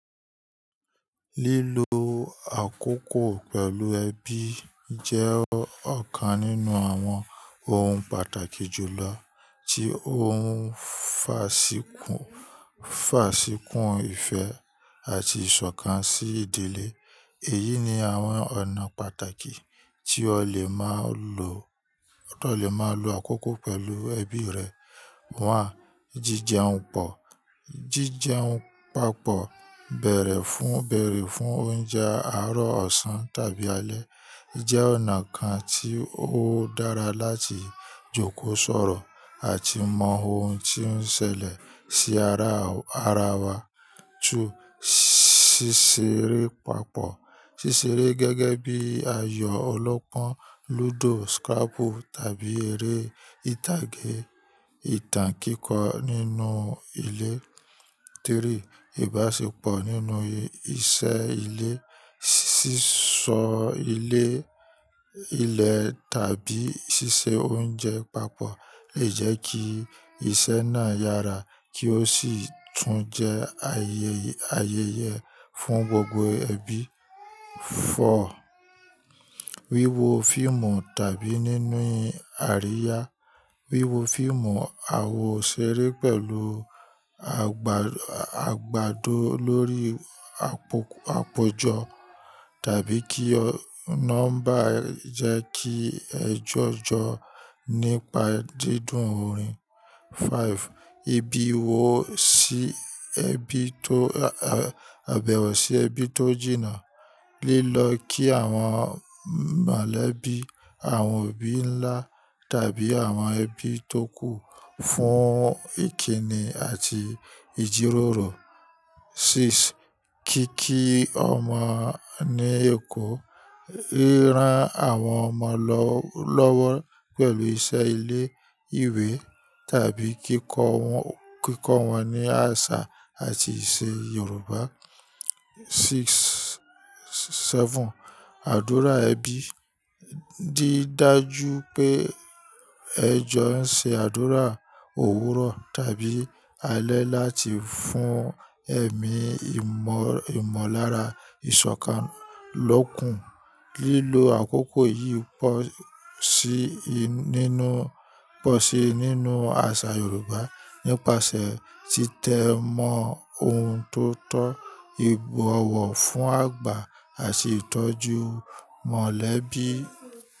Lílo àkókò pẹ̀lú ẹbí jẹ́ ọ̀kan nínú àwọn ohun pàtàkì jùlọ tí ó ń faṣì kún, faṣì kún ìfẹ́ àti ìṣọ̀kan sí ìdílé. Èyí ni àwọn ọ̀nà pàtàkì tí o lè máa lo, o lè máa lo àkókò pẹ̀lú ẹbí rẹ. One: Jíjẹun pò, jíjẹun papọ̀ bẹ̀rẹ̀ fún, béèrè fún oúnjẹ àárọ̀ ọ̀sán tàbí alẹ́ jẹ́ ọ̀nà kan tí ó dára láti jókòó sọ̀rọ̀ àti mọ ohun tí ó ń ṣẹlẹ̀ sí ara, ara wa. Two: ṣíṣeré papọ̀. Ṣíṣeré gẹ́gẹ́ bí ayò ọlọ́pọ́n, lúdò, scrabble tàbí eré ìtàgé, ìtàn kíkọ nínú ilé. Three: ìbáṣepọ̀ nínú iṣẹ́ ilé, ṣíṣọ́ ilé, ilẹ̀ tàbí ṣíṣe oúnjẹ papọ̀ lè jẹ́ kí iṣẹ́ náà yára kí ó sì tún jẹ́ ayẹ, ayẹyẹ fún gbogbo ẹbí. Four: wíwo fíìmù tàbí níni àríyá. Wíwo fíìmù àwo ṣeré pẹ̀lú àgbà, àgbàdó lórí àpòjọ tàbí kí ọ námbà jẹ́ kí ẹ jọ́jọ nípa dídùn orin. Five ìbẹ̀wọ̀ sí ẹbí tó, ẹ̀bẹ̀wọ̀ sí ẹbí tó jìnnà. Lílọ kí àwọn mọ̀lẹ́bí, àwọn òbí ńlá tàbí àwọn ẹbí tó kù fún ìkíni àti ìjíròrò. Six kíkí ọmọ ní èkó. Ríran àwọn ọmọ lọ́wọ́ pẹ̀lú iṣẹ́ ilé ìwé tàbí kíkọ́ wọn, kíkọ́ wọn ní àṣà àti ìṣe Yorùbá. Six sẹven àdúrà ẹbí. Di dájú pé ẹ jon ṣe àdúrà òwúrọ̀ tàbí alẹ́ láti fún ẹ̀mí ìmọ̀ ìmọ̀lára ìṣọ̀kan lókun. Lílọ àkókò yìí pò sí i nínú, pò sí i nínú àṣà Yorùbá nípasẹ̀ títẹ mọ ohun tó tọ́, ìbọ̀wọ̀ fún àgbà àti ìtọ́jú mọ̀lẹ́bí.